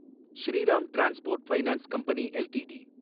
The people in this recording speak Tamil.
Sriram transport finance company LTD